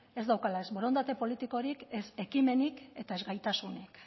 ez daukala ez borondate politikorik ez ekimenik eta ez gaitasunik